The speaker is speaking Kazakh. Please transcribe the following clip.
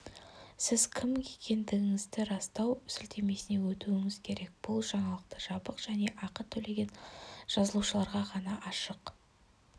сіз кім екендігіңізді растау сілтемесіне өтуіңіз керек бұл жаңалық жабық және ақы төлеген жазылушыларға ғана ашық